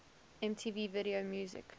mtv video music